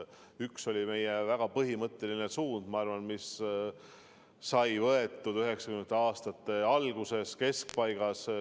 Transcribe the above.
Üks oli meie väga põhimõtteline suund, mis sai võetud 1990. aastate alguses ja keskpaigas.